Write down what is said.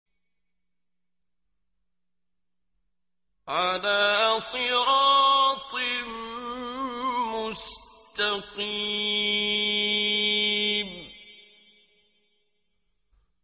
عَلَىٰ صِرَاطٍ مُّسْتَقِيمٍ